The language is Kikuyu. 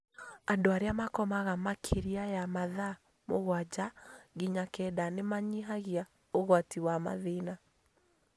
Andũ arĩa makomaga makĩria ya mathaa mũgwanja nginya kenda nĩ manyihagia ũgwati wa mathĩna